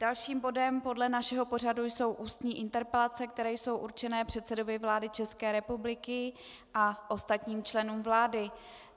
Dalším bodem podle našeho pořadu jsou ústní interpelace, které jsou určeny předsedovi vlády České republiky a ostatním členům vlády.